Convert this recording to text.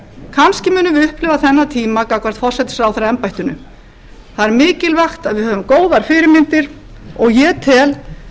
kannski munum við upplifa þennan tíma gagnvart forsætisráðherraembættinu það er mikilvægt að við höfum góðar fyrirmyndir og ég tel